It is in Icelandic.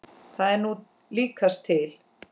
Það er nú líkast til.